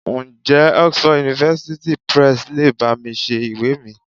Ǹjẹ́ Oxford University Press le bá mi ṣe ìwé mi?